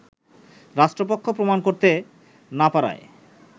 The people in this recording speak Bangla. রাষ্ট্রপক্ষ প্রমাণ করতে না পারায়